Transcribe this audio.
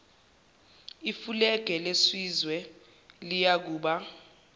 ifulege lesizwe liyakuba